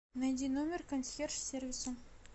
найди номер консьерж сервиса